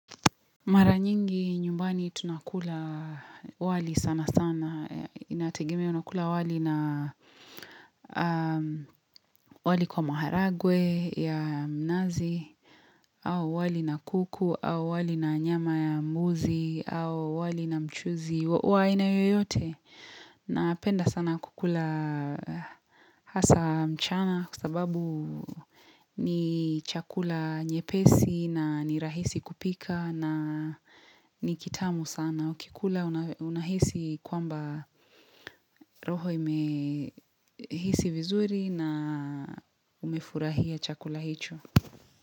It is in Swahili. Mara nyingi nyumbani tunakula wali sana sana. Inategemea unakula wali na wali kwa maharagwe ya mnazi au wali na kuku au wali na nyama ya mbuzi au wali na mchuzi. Wa aina yoyote napenda sana kukula hasa mchana kwa sababu ni chakula nyepesi na ni rahisi kupika na ni kitamu sana. Ukikula unahisi kwamba roho imehisi vizuri na umefurahia chakula hicho.